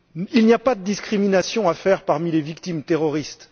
Il n'y a pas de discrimination à faire parmi les victimes du terrorisme.